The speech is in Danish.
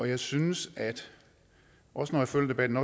jeg synes også når jeg følger debatten